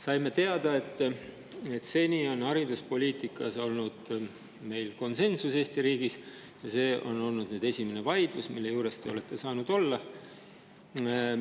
Saime teada, et seni on meil olnud Eesti riigi hariduspoliitikas konsensus ja see on esimene vaidlus, mille juures te olete saanud olla.